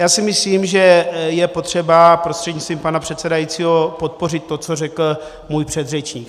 Já si myslím, že je potřeba prostřednictvím pana předsedajícího podpořit to, co řekl můj předřečník.